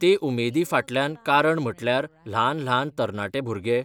ते उमेदी फाटल्यान कारण म्हटल्यार ल्हान ल्हान तरणाटे भुरगे